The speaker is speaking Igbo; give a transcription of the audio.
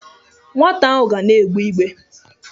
Nwata ahụ ga na-egbe igbe.